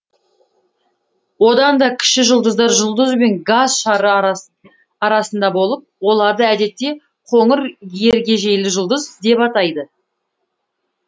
одан да кіші жұлдыздар жұлдыз бен газ шары арасында болып оларды әдетте қоңыр ергежейлі жұлдыз деп атайды